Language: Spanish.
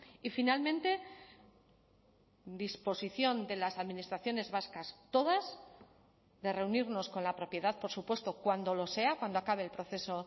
y finalmente disposición de las administraciones vascas todas de reunirnos con la propiedad por supuesto cuando lo sea cuando acabe el proceso